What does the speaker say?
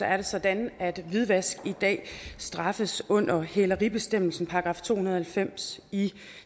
er det sådan at hvidvask i dag straffes under hæleribestemmelsen § to hundrede og halvfems i